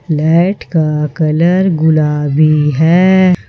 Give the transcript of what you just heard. Light का colour गुलाबी है।